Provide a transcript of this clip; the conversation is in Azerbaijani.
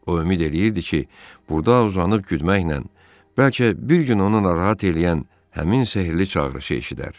O ümid eləyirdi ki, burda uzanıb güdməklə bəlkə bir gün onu narahat eləyən həmin sehrli çağırışı eşidər.